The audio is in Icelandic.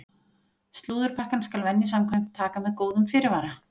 Slúðurpakkann skal venju samkvæmt taka með góðum fyrirvara!